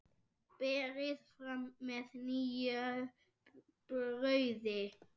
Berið fram með nýju brauði.